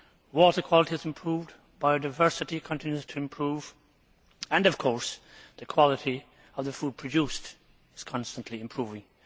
water quality has improved, biodiversity continues to improve and, of course, the quality of the food produced is constantly improving.